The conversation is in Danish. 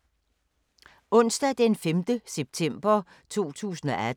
Onsdag d. 5. september 2018